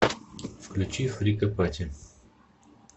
включи фрика пати